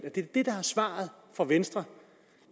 det er det der er svaret fra venstre